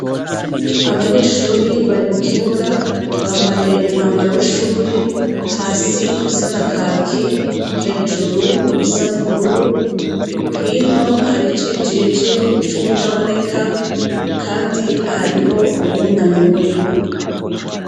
Abanyeshure bari mukibuga bambaye umwambaro w'ishure hasi usa na kaki hejuru usa nubururu hino hari icijiji cuwutaboneka kandi hariho uwunamye muribo.